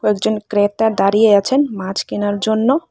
একজন ক্রেতা দাঁড়িয়ে আছেন মাছ কেনার জন্য।